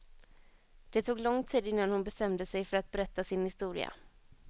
Det tog lång tid innan hon bestämde sig för att berätta sin historia.